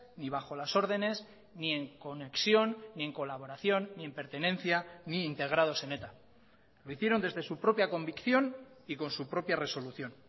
ni bajo las ordenes ni en conexión ni en colaboración ni en pertenencia ni integrados en eta lo hicieron desde su propia convicción y con su propia resolución